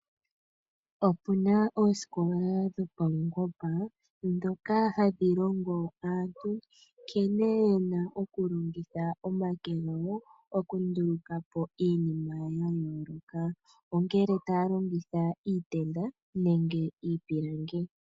Oku naoosikola dhopaungomba dhoka hadhi longo aantu nkene yena okulongitha omake gawo, okunduluka po iinima ya yooloka. Ongele otaya longitha iitenda nenge iipilangi.